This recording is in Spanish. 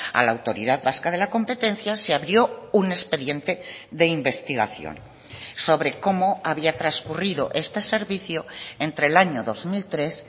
a la autoridad vasca de la competencia se abrió un expediente de investigación sobre cómo había transcurrido este servicio entre el año dos mil tres